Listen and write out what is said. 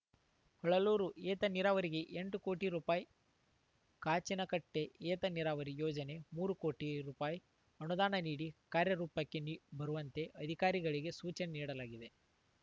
ಹೊಳಲೂರು ಏತನೀರಾವರಿಗೆ ಎಂಟು ಕೋಟಿ ರೂಪಾಯ್ ಕಾಚಿನಕಟ್ಟೆಏತ ನೀರಾವರಿ ಯೋಜನಗೆ ಮೂರು ಕೋಟಿ ರೂಪಾಯ್ ಅನುದಾನ ನೀಡಿ ಕಾರ್ಯರೂಪಕ್ಕೆ ನಿ ಬರುವಂತೆ ಅಧಿಕಾರಿಗಳಿಗೆ ಸೂಚನೆ ನೀಡಲಾಗಿದೆ